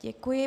Děkuji.